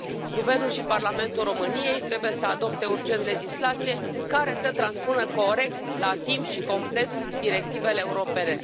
Guvernul și Parlamentul României trebuie să adopte urgent legislație care să transpună corect, la timp și complet directivele europene.